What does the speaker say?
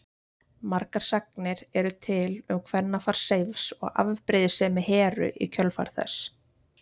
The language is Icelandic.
Margar sagnir eru til um kvennafar Seifs og afbrýðisemi Heru í kjölfar þess.